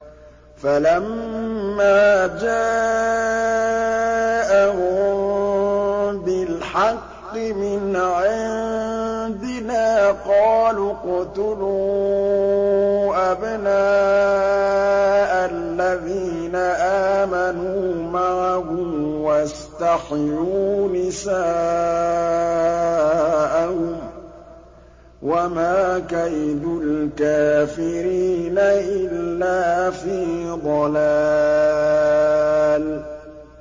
فَلَمَّا جَاءَهُم بِالْحَقِّ مِنْ عِندِنَا قَالُوا اقْتُلُوا أَبْنَاءَ الَّذِينَ آمَنُوا مَعَهُ وَاسْتَحْيُوا نِسَاءَهُمْ ۚ وَمَا كَيْدُ الْكَافِرِينَ إِلَّا فِي ضَلَالٍ